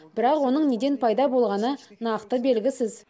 бірақ оның неден пайда болғаны нақты белгісіз